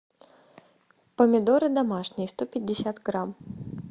помидоры домашние сто пятьдесят грамм